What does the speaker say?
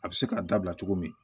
A bɛ se k'a dabila cogo min